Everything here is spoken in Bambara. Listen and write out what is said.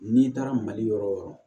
N'i taara mali yɔrɔ wo yɔrɔ